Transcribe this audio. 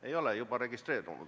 Ei ole, juba registreerunud.